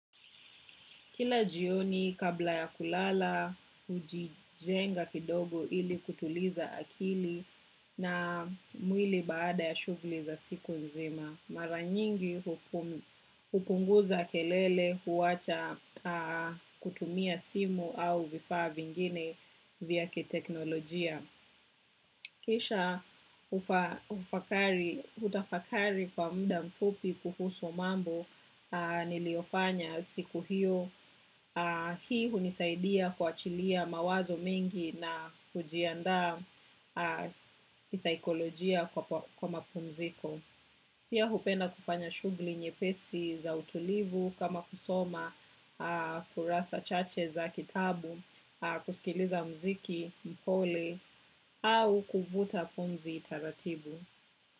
Kila jioni kabla ya kulala, hujijenga kidogo ili kutuliza akili na mwili baada ya shughuli za siku nzima. Mara nyingi hupunguza kelele huwacha kutumia simu au vifaa vingine vya kiteknolojia. Kisha hutafakari kwa muda mfupi kuhusu mambo niliofanya siku hiyo, hii hunisaidia kuachilia mawazo mengi na kujiandaa kisaikolojia kwa mapumziko. Pia hupenda kufanya shughuli nyepesi za utulivu kama kusoma, kurasa chache za kitabu, kusikiliza mziki, mpole, au kuvuta pumzi taratibu.